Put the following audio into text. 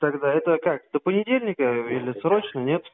тогда это как до понедельника или срочно нет